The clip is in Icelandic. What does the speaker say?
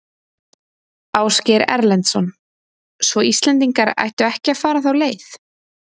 Ásgeir Erlendsson: Svo Íslendingar ættu ekki að fara þá leið?